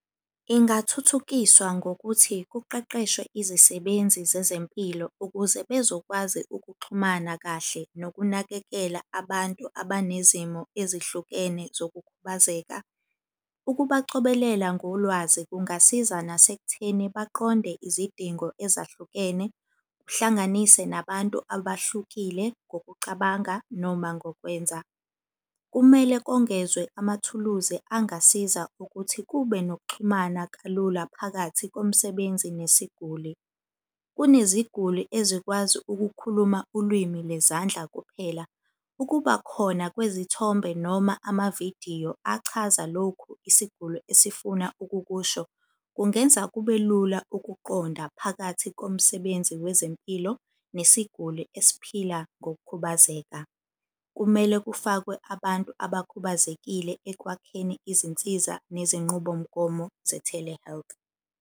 Ingathuthukiswa ngokuthi kuqeqeshwe izisebenzi zezempilo ukuze bezokwazi ukuxhumana kahle nokunakekela abantu abanezimo ezihlukene zokukhubazeka. Ukubacobelela ngolwazi kungasiza nasekutheni baqonde izidingo ezahlukene, kuhlanganise nabantu abahlukile ngokucabanga, noma ngokwenza. Kumele kongezwe amathuluzi angasiza ukuthi kube nokuxhumana kalula phakathi komsebenzi nesiguli. Kuneziguli ezikwazi ukukhuluma ulwimi lezandla kuphela. Ukuba khona kwezithombe noma amavidiyo achaza lokhu isiguli esifuna ukukusho, kungenza kube lula ukuqonda phakathi komsebenzi wezempilo nesiguli esiphila ngokukhubazeka. Kumele kufakwe abantu abakhubazekile ekwakheni izinsiza nezinqubomgomo ze-telehealth.